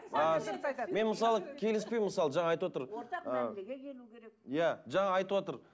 ы мен мысалы келіспеймін мысалы жаңа айтып отыр иә жаңа айтып отыр